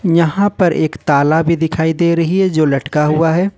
यहां पर एक ताला भी दिखाई दे रही है जो लटका हुआ है।